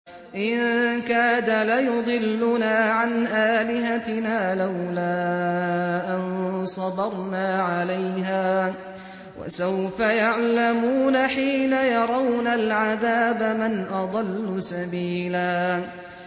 إِن كَادَ لَيُضِلُّنَا عَنْ آلِهَتِنَا لَوْلَا أَن صَبَرْنَا عَلَيْهَا ۚ وَسَوْفَ يَعْلَمُونَ حِينَ يَرَوْنَ الْعَذَابَ مَنْ أَضَلُّ سَبِيلًا